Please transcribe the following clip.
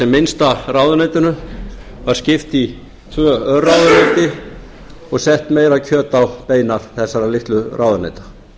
minnsta ráðuneytinu var skipt í tvö örráðuneyti og sett meira kjöt á bein þessara litlu ráðuneyta